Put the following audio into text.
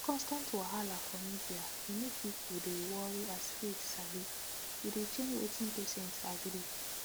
constant wahala for media dey make people dey worry as faith sabi e dey change wetin patient agree